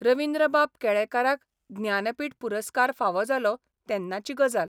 रवीन्द्रबाब केळेकाराक ज्ञानपीठ पुरस्कार फावो जालो तेन्नाची गजाल.